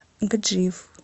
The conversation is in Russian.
гаджиев